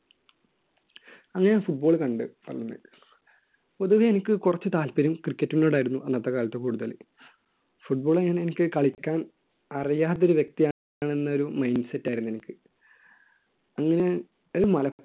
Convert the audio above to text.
അന്ന് ഞാൻ football കണ്ടു പൊതുവേ എനിക്ക് കുറച്ച് താൽപ്പര്യം cricket നോട് ആയിരുന്നു അന്നത്തെ കാലത്ത് കൂടുതൽ football അങ്ങനെ എനിക്ക് കളിക്കാൻ അറിയാത്ത ഒരു വ്യക്തി ആണെന്ന് ഒരു mind set ആയിരുന്നു എനിക്ക് അങ്ങനെ മലപ്പുറം